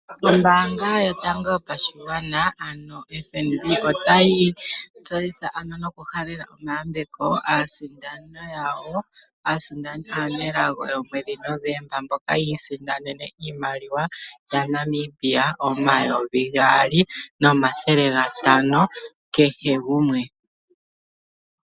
Ombaanga yotango yopashigwana ano FNB, otayi tseitha ano nokuhalela omayambeko aasindani yawo aanelago yomwedhi Novemba mboka ya isindanene iimaliwa yaNamibia omayovi gaali nomathele gatano kehe gumwe.